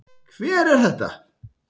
Hver er þetta?